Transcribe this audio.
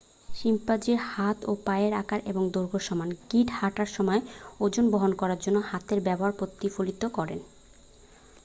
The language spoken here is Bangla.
শিম্পাঞ্জির হাত ও পায়ের আকার এবং দৈর্ঘ্য সমান গিঁট হাঁটার সময় ওজন বহন করার জন্য হাতের ব্যবহার প্রতিফলিত করে